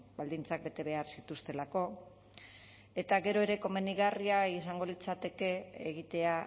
baldintzak bete behar zituztelako eta gero ere komenigarria izango litzateke egitea